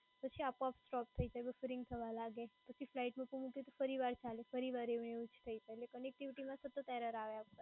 પછી આપોઆપ stop થઈ જાય buffering થવા લાગે, પછી flight mode માં મૂકું તો ફરી વાર ચાલે ફરી વાર એવું ને એવું થાય અને connectivity માં સતત error આવે.